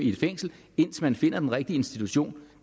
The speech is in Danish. et fængsel indtil man finder den rigtige institution